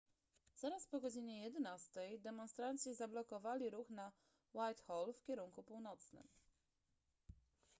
zaraz po godzinie 11:00 demonstranci zablokowali ruch na whitehall w kierunku północnym